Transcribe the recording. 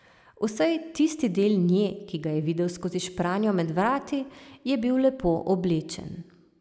Vsaj tisti del nje, ki ga je videl skozi špranjo med vrati, je bil lepo oblečen.